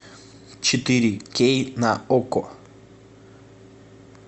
четыре кей на окко